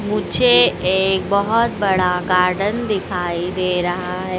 मुझे एक बहुत बड़ा गार्डन दिखाई दे रहा है।